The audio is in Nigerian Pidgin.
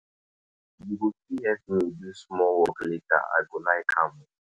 You go fit help me do small work later, I go like am.